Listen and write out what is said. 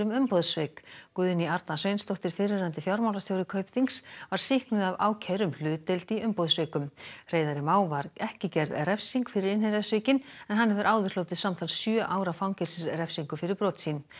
umboðssvik Guðný Arna Sveinsdóttir fyrrverandi fjármálastjóri Kaupþings var sýknuð af ákæru um hlutdeild í umboðssvikum Hreiðari Má var ekki gerð refsing fyrir en hann hefur áður hlotið samtals sjö ára fangelsisrefsingu fyrir brot sín